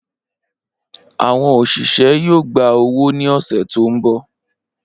Awọn oṣiṣẹ yoo gba owo ni ọsẹ to nbọ.